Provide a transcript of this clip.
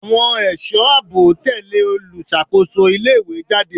Àwọn ẹ̀sọ́ àbò tẹ̀lẹ́ olùṣàkóso ilé ìwé jáde.